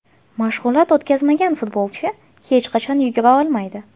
Mashg‘ulot o‘tkazmagan futbolchi hech qachon yugura olmaydi.